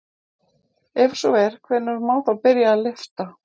Ef svo er hvenær má þá byrja að lyfta?